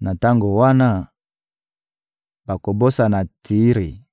Na tango wana, bakobosana Tiri